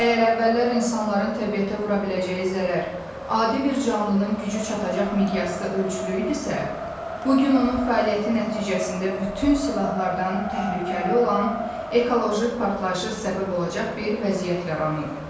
Əgər əvvəllər insanların təbiətə vura biləcəyi zərər adi bir canlının gücü çatacaq miqyasda ölçülü idisə, bu gün onun fəaliyyəti nəticəsində bütün silahlardan təhlükəli olan ekoloji partlayışa səbəb olacaq bir vəziyyət yaranıb.